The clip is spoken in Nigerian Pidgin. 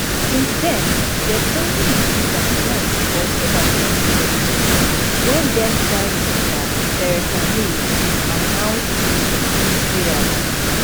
since then dem only increase am once for october 2017 wen thenprime minister theresa may bin announced a 250 rise